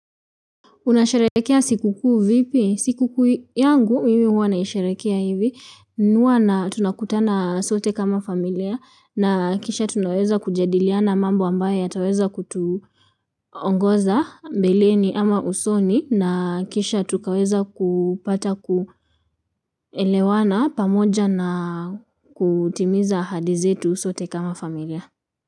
Unasharehekea siku kuu vipi? Siku kuu yangu mimi huwa naisharehekea hivi. Huwa tunakutana sote kama familia na kisha tunaweza kujadiliana mambo ambaye yataweza kutuongoza mbeleni ama usoni na kisha tukaweza kupata kuelewana pamoja na kutimiza ahadi zetu sote kama familia.